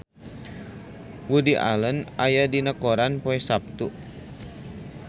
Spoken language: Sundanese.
Woody Allen aya dina koran poe Saptu